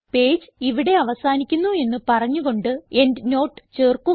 page ഇവിടെ അവസാനിക്കുന്നു എന്ന് പറഞ്ഞു കൊണ്ട് എൻഡ്നോട്ട് ചേർക്കുക